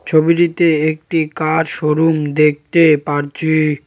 ছবিটিতে একটি car showroom দেখতে পারছি।